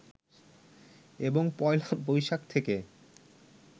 এবং পয়লা বৈশাখ থেকে